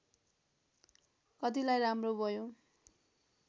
कतिलाई राम्रो भयो